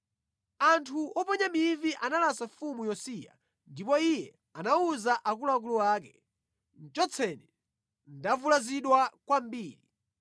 Anthu oponya mivi analasa mfumu Yosiya, ndipo iye anawuza akuluakulu ake, “Chotseni. Ndavulazidwa kwambiri.”